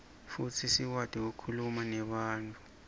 futsi sikwati kukhuluma nebantfu